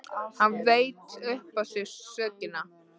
Hann veit upp á sig sökina.